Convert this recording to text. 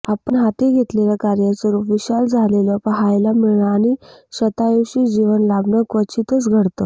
आपण हाती घेतलेल्या कार्याचं रूप विशाल झालेलं पाहायला मिळणं आणि शतायुषी जीवन लाभणं क्वचितच घडतं